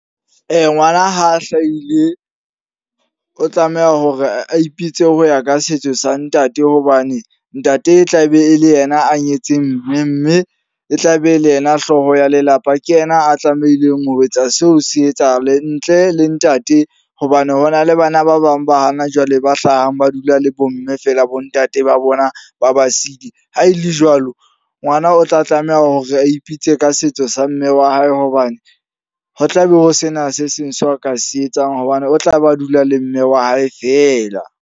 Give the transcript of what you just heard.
Ngwana ha a hlaile, o tlameha hore a ipitse ho ya ka setso sa ntate. Hobane ntate e tla be e le yena a nyetseng mme. Mme e tla be e le yena hlooho ya lelapa. Ke yena a tlamehileng ho etsa seo se etsahale. Ntle le ntate, hobane hona le bana ba bang ba hana jwale ba hlahang ba dula le bo mme fela bo ntate ba bona ba ba sile. Ha e le jwalo, ngwana o tla tlameha hore a ipitse ka setso sa mme wa hae. Hobane ho tlabe ho sena se seng seo ka se etsang hobane o tla ba dula le mme wa hae fela.